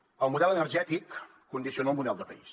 el model energètic condiciona el model de país